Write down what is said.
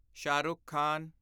Shah Rukh Khan